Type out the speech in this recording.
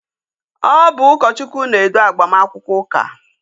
Ọ bụ ụkọchukwu na-edu agbamakwụkwọ ụka